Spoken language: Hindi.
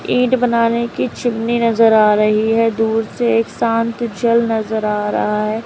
इंट बनाने की चिमनी नजर आ रही है दूर से एक शांत जल नजर आ रहा है।